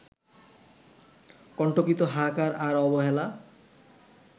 কন্টকিত হাহাকার আর অবহেলা